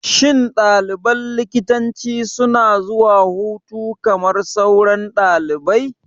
Shin ɗaliban likitanci suna zuwa hutu kamar sauran ɗalibai?